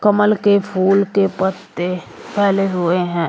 कमल के फूल के पत्ते फैले हुए हैं।